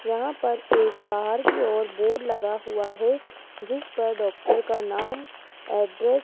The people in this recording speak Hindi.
यहां पर एक बाहर की ओर बोर्ड लगा हुआ है जिस पर डॉक्टर का नाम एड्रेस --